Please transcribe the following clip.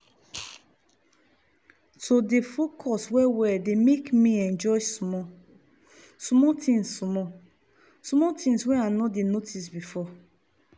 to dey focus well well dey make me enjoy small-small things small-small things wey i no dey notice before